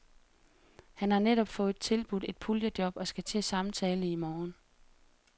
Han har netop fået tilbudt et puljejob og skal til samtale i morgen.